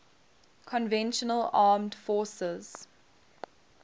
conventional armed forces